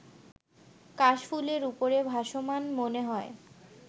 কাশফুলের উপরে ভাসমান মনে হয়